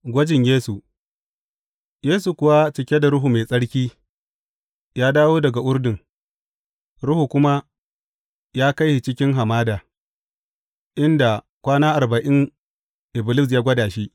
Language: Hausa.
Gwajin Yesu Yesu kuwa cike da Ruhu Mai Tsarki, ya dawo daga Urdun, Ruhu kuma ya kai shi cikin hamada, inda kwana arba’in, Iblis ya gwada shi.